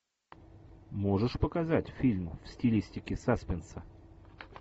можешь показать фильм в стилистике саспенса